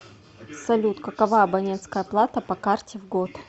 салют какова абонентская плата по карте в год